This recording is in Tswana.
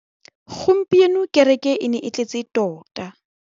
Gompieno kêrêkê e ne e tletse tota.